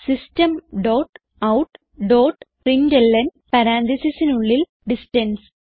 system dot out dot println Parenthesesനുള്ളിൽ distance